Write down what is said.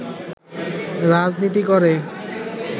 রাজনীতি করে